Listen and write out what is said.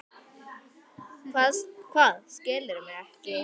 Hvað, skilurðu mig ekki?